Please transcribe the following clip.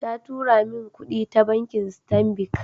Ta tura min kudi ta bankin Stanbic